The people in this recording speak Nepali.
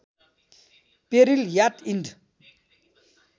peril yacht end